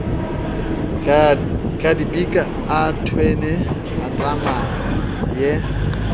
tlabidika a thwene a tsamaye